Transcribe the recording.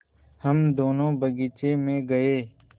हम दोनो बगीचे मे गये